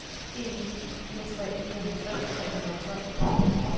en ni fire tre fireoghalvfems tre hundrede og tolv